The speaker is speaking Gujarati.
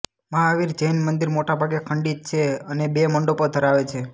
મહાવીરનું જૈન મંદિર મોટાભાગે ખંડિત છે અને બે મંડપો ધરાવે છે